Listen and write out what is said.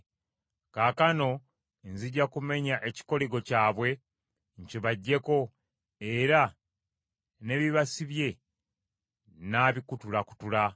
Kaakano nzija kumenya ekikoligo kyabwe nkibaggyeko era n’ebibasibye nnaabikutulakutula.”